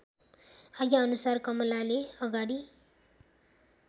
आज्ञाअनुसार कमलाले अगाडि